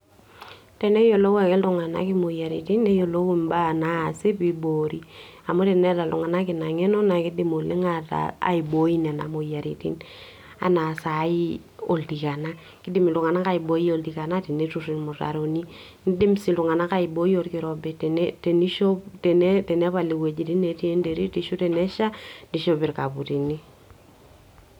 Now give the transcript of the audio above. Teneyiolou ake iltungana imoyiaritin neyiolou, imbaa nasi pibori amu tenetaa iltungana ina ngenona kindim oleng aiboi nena moyiaritin ena sai oltikana, kindim iltungana aiboi oltikana tenetur ilmutaroni, nindim si iltungana aiboi olkirobi, teni tenishop tenepal iweujitin nati enterit, ashu tenesha nishop ilkaputini.